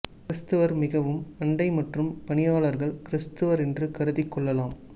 கிரிஸ்துவர் மிகவும் அண்டை மற்றும் பணியாளர்கள் கிரிஸ்துவர் என்று கருதி கொள்ளலாம்